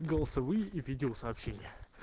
голосовые и видео сообщения